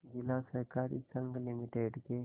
जिला सहकारी संघ लिमिटेड के